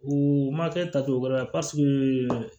U ma kɛ tacogo wɛrɛ la paseke